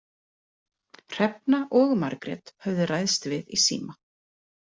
Hrefna og Margrét höfðu ræðst við í síma.